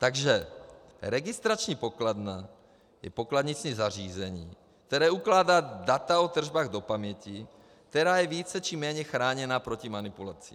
Takže registrační pokladna je pokladniční zařízení, které ukládá data o tržbách do paměti, která je více či méně chráněna proti manipulaci.